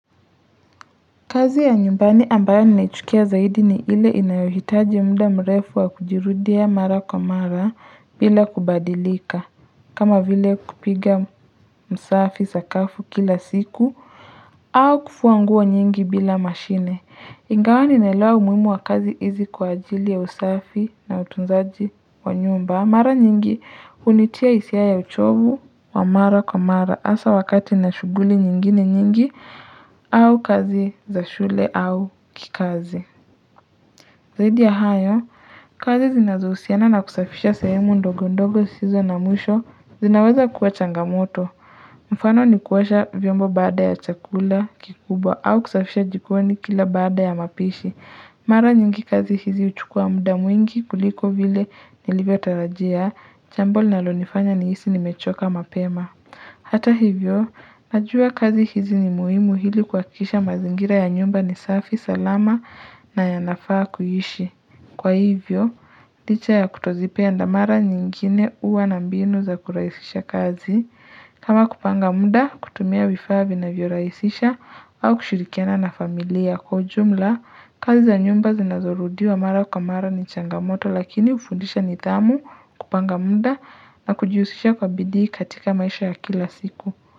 Kazi ya nyumbani ambayo ninaichukia zaidi ni ile inayohitaji muda mrefu wa kujirudia mara kwa mara bila kubadirika. Kama vile kupiga msafi sakafu kila siku. Au kufuanguo nyingi bila mashine. Ingawa ninaelewa umuhimu wa kazi hizi kwa ajili ya usafi na utunzaji wa nyumba. Mara nyingi unitia hisia ya uchovu wa mara kwa mara hasa wakati ninashughuli nyingine nyingi au kazi za shule au kikazi. Zaidi ya hayo, kazi zinazohusiana na kusafisha sehemu ndogo ndogo zisizo na mwisho zinaweza kuwa changamoto. Mfano ni kuosha vyombo baada ya chakula kikubwa au kusafisha jikoni kila baada ya mapishi. Mara nyingi kazi hizi huchukua muda mwingi kuliko vile nilivyo tarajia, jambo linalo nifanya ni hisi nimechoka mapema. Hata hivyo, najua kazi hizi ni muhimu hili kuhakikisha mazingira ya nyumba ni safi, salama na yanafaa kuishi. Kwa hivyo, licha ya kutozipenda mara nyingine huwa na mbinu za kurahisisha kazi. Kama kupanga muda, kutumia vifaa vinavyo rahisisha, au kushirikiana na familia kwa ujumla, kazi za nyumba zinazorudiwa mara kwa mara ni changamoto lakini hufundisha nidhamu, kupanga muda na kujihusisha kwa bidii katika maisha ya kila siku.